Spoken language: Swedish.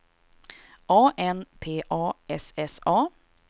A N P A S S A